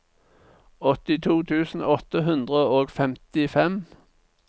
åttito tusen åtte hundre og femtifem